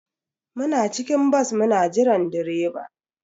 Muna cikin bas muna jiran direba.